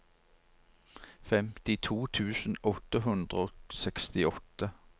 femtito tusen åtte hundre og sekstiåtte